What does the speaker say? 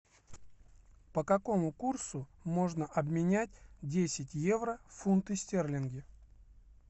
по какому курсу можно обменять десять евро в фунты стерлинги